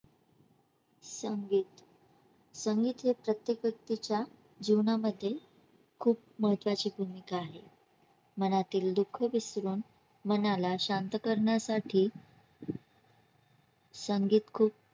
संगीत संगीत हे प्रत्येक व्यक्तीच्या जीवनामध्ये खूप महत्त्वाची भूमिका आहे मनातील दुःख विसरून मनाला शांत करण्यासाठी संगीत खूप